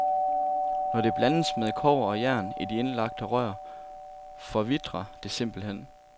Når det blandes med kobber og jern i de indlagte rør, forvitrer det simpelthen.